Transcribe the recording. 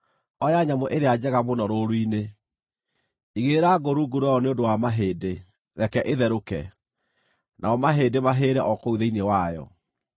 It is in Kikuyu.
oya nyamũ ĩrĩa njega mũno rũũru-inĩ. Igĩrĩra ngũ rungu rwayo nĩ ũndũ wa mahĩndĩ; reke ĩtherũke, namo mahĩndĩ mahĩĩre o kũu thĩinĩ wayo.